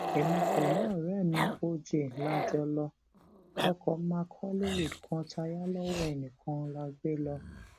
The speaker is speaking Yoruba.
èmi pẹlú ọrẹ mi oj la jọ lo ọkọ mark hollywood kan tá a yà lọwọ ẹnìkan la gbé lọ